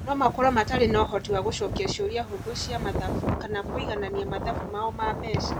No makorũo matarĩ na ũhoti wa gũcokia ciũria hũthũ cia mathabu kana kũiganania mathabu mao ma mbeca.